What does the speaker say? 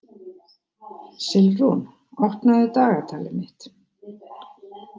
Silfrún, opnaðu dagatalið mitt.